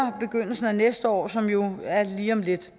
i næste år som jo er lige om lidt